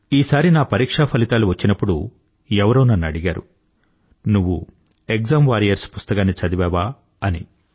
ఈసారి నా పరీక్షా ఫలితాలు వచ్చినప్పుడు ఎవరో నన్ను అడిగారు నువ్వు ఎక్సామ్ వారియర్స్ పుస్తకాన్ని చదివావా అని